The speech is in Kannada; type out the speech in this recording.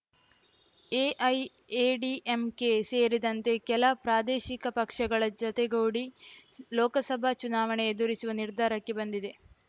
ಎಐಎಡಿಎಂಕೆ ಸೇರಿದಂತೆ ಕೆಲ ಪ್ರಾದೇಶಿಕ ಪಕ್ಷಗಳ ಜೊತೆಗೂಡಿ ಲೋಕಸಭಾ ಚುನಾವಣೆ ಎದುರಿಸುವ ನಿರ್ಧಾರಕ್ಕೆ ಬಂದಿದೆ